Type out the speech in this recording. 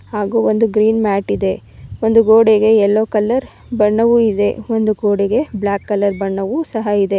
ಹಾಗೂ ಒಂದು green mat ಇದೆ ಒಂದು ಗೋಡೆಗೆ ಎಲ್ಲೊ ಕಲರ್ ಬಣ್ಣವು ಇದೆ ಒಂದು ಗೋಡೆಗೆ ಬ್ಲಾಕ್ ಕಲರ್ ಬಣ್ಣವು ಸಹ ಇದೆ.